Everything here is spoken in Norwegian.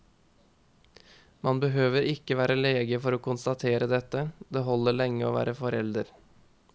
Man behøver ikke være lege for å konstatere dette, det holder lenge å være forelder.